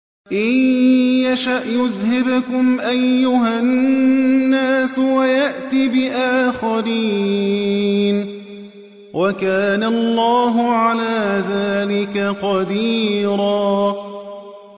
إِن يَشَأْ يُذْهِبْكُمْ أَيُّهَا النَّاسُ وَيَأْتِ بِآخَرِينَ ۚ وَكَانَ اللَّهُ عَلَىٰ ذَٰلِكَ قَدِيرًا